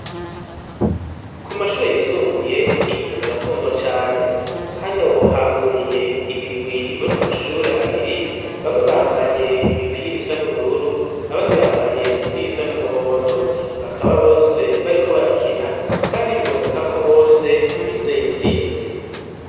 Ku mashure yisumbuye inkino zirakundwa cane hano hahuriye imigwi ivuye ku mashuri abiri bamwe bambaye imipira isa n'ubururu abandi bambaye imipira isa n'umuhondo bakaba bose bariko barakina kandi biboneka ko bose bizeye intsinzi.